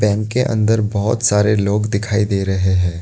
Bank के अंदर बहुत सारे लोग दिखाई दे रहे हैं।